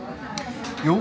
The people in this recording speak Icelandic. jú